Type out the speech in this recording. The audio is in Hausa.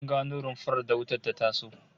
Mun gano rumfar da wutar ta taso